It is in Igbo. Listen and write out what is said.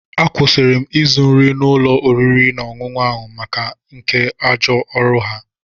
Akwụsịri m ịzụ nri n'ụlọ oriri na ọṅụṅụ ahụ maka nke ajọ ọrụ ha.